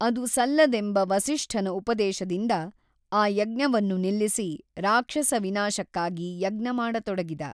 ಅದು ಸಲ್ಲದೆಂಬ ವಸಿಷ್ಠನ ಉಪದೇಶದಿಂದ ಆ ಯಜ್ಞವನ್ನು ನಿಲ್ಲಿಸಿ ರಾಕ್ಷಸ ವಿನಾಶಕ್ಕಾಗಿ ಯಜ್ಞ ಮಾಡತೊಡಗಿದ.